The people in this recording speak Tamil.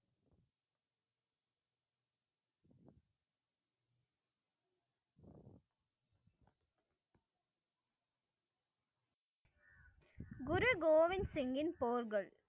குரு கோவிந்த் சிங்கின் போர்கள்.